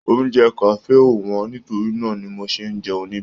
Oúnjẹ kafe o wọn nítorí náà ní mò ṣe n jẹun nibẹ̀.